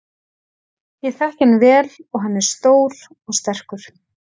Ég þekki hann vel og hann er stór og sterkur.